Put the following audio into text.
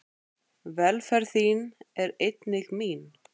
Velferð þín er einnig mín.